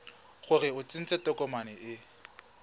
gore o tsentse tokomane e